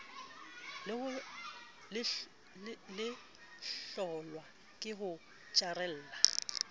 le hlolwa ke ho itjarela